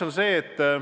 Punkt üks.